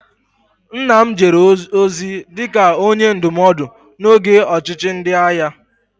Nna m jere ozi dị ka Onye Ndụmọdụ n'oge ọchịchị ndị agha